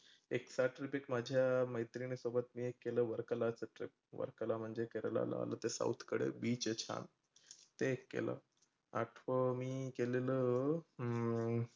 एक trip माझ्या मैत्रीनी सोबत मी एक केलं वरकलाचं trip वरकला म्हणजे केरळला आलं ते south कडे beach ते एक केलं. आठवं मी केलेलं. हम्म